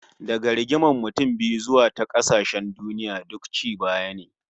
Daga rigimar mutum biyu zuwa ta kasashen duniya, duk ci baya ne